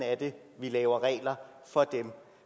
vi laver regler for dem